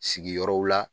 Sigiyɔrɔ la